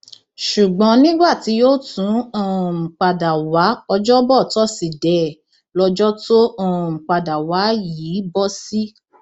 ṣùgbọn nígbà tí yóò tún um padà wá ọjọbọ tọsídẹẹ lọjọ tó um padà wá yìí bọ sí